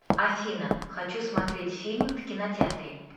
афина хочу смотреть фильм в кинотеатре